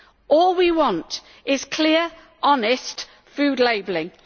All we want is clear, honest food labelling.